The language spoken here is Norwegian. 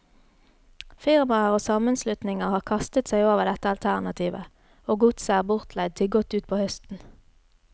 Firmaer og sammenslutninger har kastet seg over dette alternativet, og godset er bortleid til godt utpå høsten.